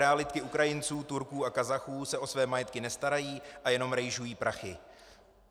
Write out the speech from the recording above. Realitky Ukrajinců, Turků a Kazachů se o své majetky nestarají a jenom rejžují prachy."